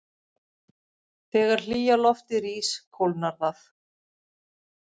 Þegar hlýja loftið rís kólnar það.